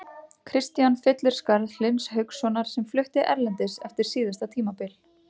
Kristian fyllir skarð Hlyns Haukssonar sem flutti erlendis eftir síðasta tímabil.